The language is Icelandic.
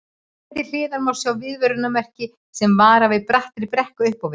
Hér til hliðar má sjá viðvörunarmerki sem varar við brattri brekku upp á við.